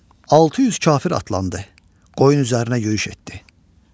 600 kafir atlandı, qoyun üzərinə yürüş etdi.